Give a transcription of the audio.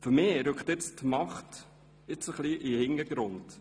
Für mich rückt nun die Macht etwas in den Hintergrund.